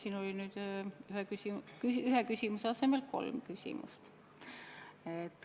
Siin oli nüüd ühe küsimuse asemel kolm küsimust.